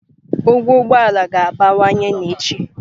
Ụgwọ ụgbọ ala ga-abawanye n'echi.